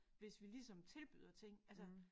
Hvis vi ligesom tilbyder ting altså